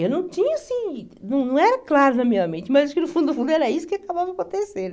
Eu não tinha, assim, não não era claro na minha mente, mas acho que no fundo do fundo era isso que acabava acontecendo.